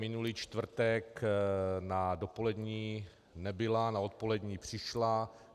Minulý čtvrtek na dopolední nebyla, na odpolední přišla.